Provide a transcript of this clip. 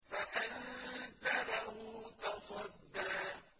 فَأَنتَ لَهُ تَصَدَّىٰ